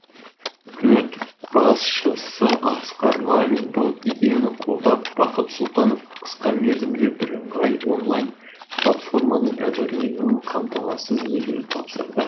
үкімет басшысы асқар мамин бұл идеяны қолдап бақыт сұлтановқа қысқа мерзімде бірыңғай онлайн платформаның әзірленуін қамтамасыз етуді тапсырды